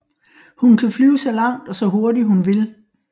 Hun kan flyve så langt og så hurtigt hun vil